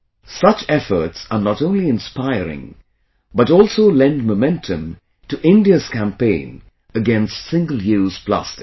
Such efforts are not only inspiring, but also lend momentum to India's campaign against single use plastic